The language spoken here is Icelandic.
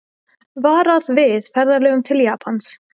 Varað við ferðalögum til Japans